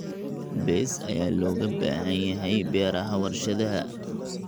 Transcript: Bees ayaa looga baahan yahay beeraha warshadaha.